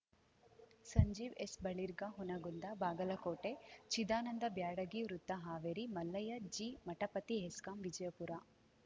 ಸಂಜೀವ್‌ ಎಸ್‌ಬಳಿರ್ಗಾ ಹುನಗುಂದ ಬಾಗಲಕೋಟೆ ಚಿದಾನಂದ ಬ್ಯಾಡಗಿ ವೃತ್ತ ಹಾವೇರಿ ಮಲ್ಲಯ್ಯ ಜಿಮಠಪತಿ ಹೆಸ್ಕಾಂ ವಿಜಯಪುರ